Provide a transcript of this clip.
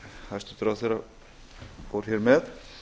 hæstvirtur ráðherra fór hér með